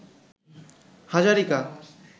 Hazarika